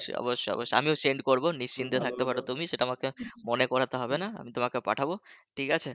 অবশ্যই অবশ্যই আমিও send করব নিশ্চিন্তে থাকতে পারো তুমি সেটা তোমাকে মনে করাতে হবে না আমি তোমাকে পাঠাবো ঠিক আছে